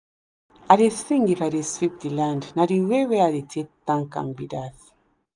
i dey sing if i dey sweep the land na the way wey i dey take thank am be that.